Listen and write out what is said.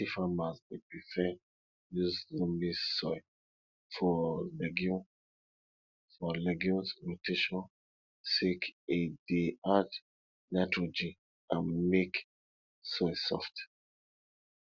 plenty farmers dey prefer use loamy soil for legume for legume rotation sake e dey add nitrogen and make soil soft